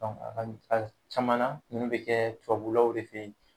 Dɔnku a ka a caman na nunnu be kɛ tubabulaw de fe yen